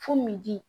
Fo min di